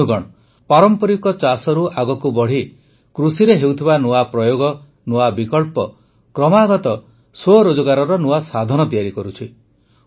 ବନ୍ଧୁଗଣ ପାରମ୍ପରିକ ଚାଷରୁ ଆଗକୁ ବଢ଼ି କୃଷିରେ ହେଉଥିବା ନୂଆ ପ୍ରୟୋଗ ନୂଆ ବିକଳ୍ପ କ୍ରମାଗତ ସ୍ୱରୋଜଗାରର ନୂଆ ସାଧନ ତିଆରି କରୁଛି